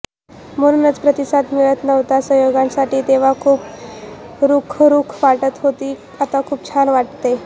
म्हणूनच प्रतिसाद मिळत नव्हता संयोजनासाठी तेव्हा खूप रुखरुख वाटत होती आता खूप छान वाटतय